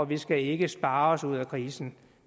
vi skal ikke spare os ud af krisen